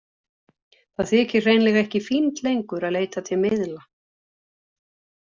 Það þykir hreinlega ekki fínt lengur að leita til miðla.